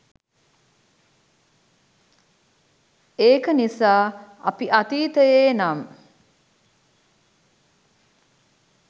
ඒක නිසා අපි අතීතයේ නම්